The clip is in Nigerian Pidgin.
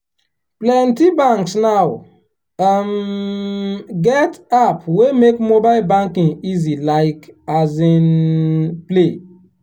plenty banks now um get app wey make mobile banking easy like um play.